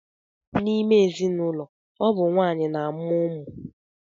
N'ime ezinụlọ, ọ bụ nwaanyị na-amụ ụmụ.